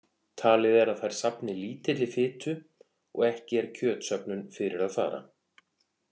Talið er að þær safni lítilli fitu og ekki er kjötsöfnun fyrir að fara.